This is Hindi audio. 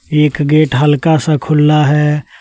एक गेट हल्का सा खुला है।